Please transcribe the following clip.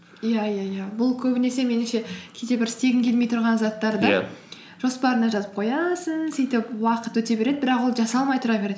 иә иә иә бұл көбінесе меніңше кейде бір істегің келмей тұрған жоспарыңа жазып қоясың сөйтіп уақыт өте береді бірақ ол жасалмай тұра береді